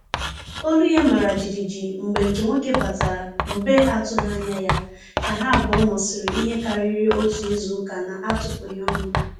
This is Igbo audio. Olu ya mara jijiji mgbe nke nwoke batara mgbe atụghị anya ya, ka ha abụọ nọsiri ihe karịrị otu izuụka na-atụpụghi ọnụ